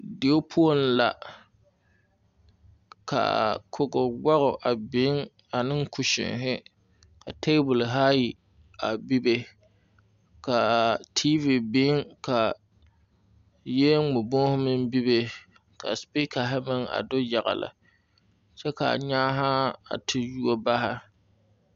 Dieo poɔŋ la kaa kogo woge a be ne kusine ne ka tabol ayi a bebe ka tiivi biŋ ka yiel ŋmɛ bohu meŋ bebe ka supikare meŋ a do yagle kyɛ ka nyaanaa a te yuo bare.